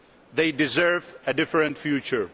They deserve a different future.